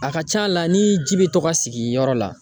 A ka ca la ni ji bɛ to ka sigi yɔrɔ la.